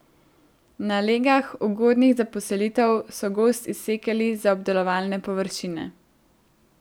Na legah, ugodnih za poselitev, so gozd izsekali za obdelovalne površine.